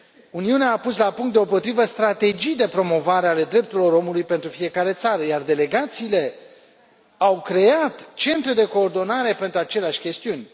Uniunea a pus la punct deopotrivă strategii de promovare ale drepturilor omului pentru fiecare țară, iar delegațiile au creat centre de coordonare pentru aceleași chestiuni.